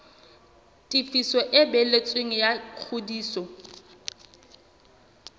tefiso e balletsweng ya ngodiso